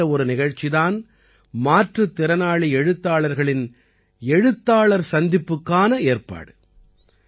இப்படிப்பட்ட ஒரு நிகழ்ச்சி தான் மாற்றுத் திறனாளி எழுத்தாளர்களின் எழுத்தாளர் சந்திப்புக்கான ஏற்பாடு